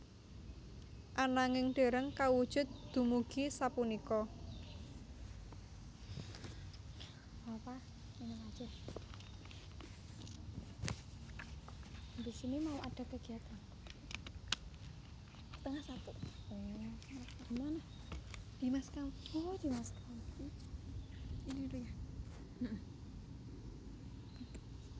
Ananging dereng kawujud dumugi sapunika